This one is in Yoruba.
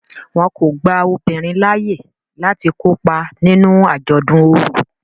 Wón kò gbà obinrin laaye lati kopa nínú ajọdun ọrọ.